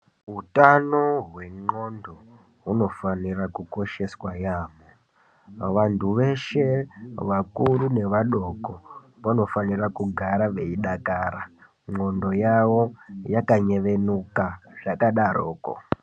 Utano hwendxondo hunofanira kukosheswa yaambo vantu veshe vakuru nevadoko vanofanira kugara veidakara ndxondo yavo yakanyevenuka zvakadaroko.